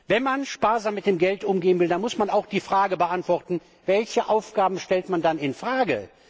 Wenn man sparsam mit dem Geld umgehen will, dann muss man auch die Frage beantworten Welche Aufgaben stellt man dann in Frage?